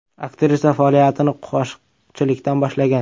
Aktrisa faoliyatini qo‘shiqchilikdan boshlagan.